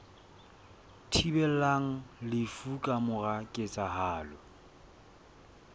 thibelang lefu ka mora ketsahalo